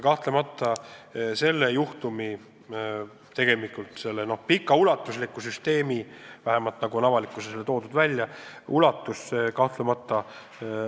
Kahtlemata on see juhtum või see tegelikult kaua aega toiminud ulatuslik süsteem – vähemalt on seda avalikkusele niimoodi serveeritud – oluline.